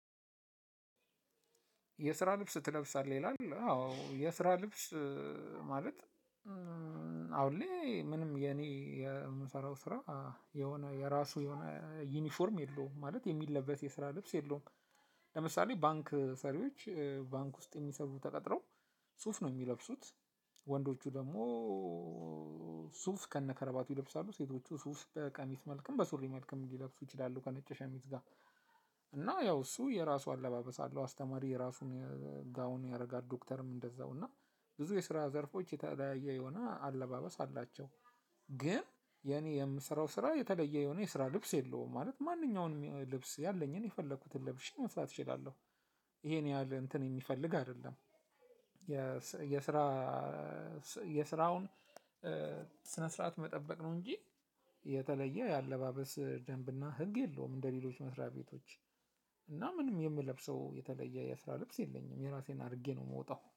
የስራ ልብስ ትለብሳለህ ይላል አዎ የስራ ልብስ ማለት አሁን ላይ ምንም የኔ የምሰራው ስራ የሆነ የራሱ የሆነ ዩኒፎርም የለውም ማለት የሚለበስ የስራ ልብስ የለውም። ለምሳሌ ባንክ ሰሪዎች ባንክ ውስጥ የሚሰሩ ተቀጥረው ሱፍ ነው የሚለብሱት ወንዶቹ ደግሞ ሱፍ ከነከረባቱ ይለብሳሉ ሴቶቹ ሱፍ በቀሚስ መልክም በሱሪ መልክም ሊለብሱ ይችላሉ ከነጭ ሸሚዝ ጋር። እና ያው እሱ የራሱ አለባበስ አለው። አስተማሪ የራሱን ጋውን ያደርጋል ዶክተርም እንደዛው እና ብዙ የስራ ዘርፎች የተለያየ የሆነ አለባበስ አላቸው። ግን የኔ የምሰራው ስራ የተለየ የሆነ የስራ ልብስ የለውም ማለት ማንኛውንም ልብስ ያለኝን የፈለኩትን ለብሼ መስራት እችላለሁ። ይሄን ያህል እንትን የሚፈልግ አይደለም። የስራ የስራውን ስነ ስርዓት መጠበቅ ነው እንጂ የተለየ የአለባበስ ደንብና ህግ የለውም። እንደ ሌሎች መስሪያ ቤቶች እና ምንም የምለብሰው የተለየ የስራ ልብስ የለኝም የራሴን አድርጌ ነው የምወጣው